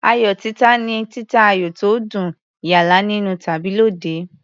Ayò títa ni títa ayò tó dùn, yálà nínú tàbí lóde.